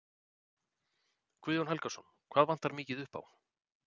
Guðjón Helgason: Hvað vantar mikið upp á?